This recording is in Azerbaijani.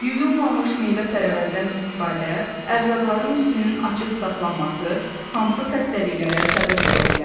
Yuyulmamış meyvə-tərəvəzdən istifadə, ərzaqların üstünün açıq saxlanması hansı xəstəliklərə səbəb ola bilər?